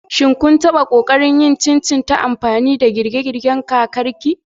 Shin kun taɓa ƙoƙarin yin chin chin ta amfani da girke-girken kakarki?